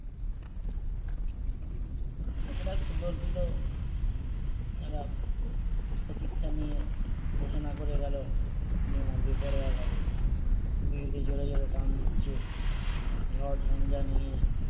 একটা সুদর্পিত একটা প্রতীক্ষা নিয়ে ঘোষণা করে গেলো বেপরোয়া ভাবে বিড়িতে জোরে জোরে টান দিচ্ছে ঝড় ঝঞ্ঝা নিয়ে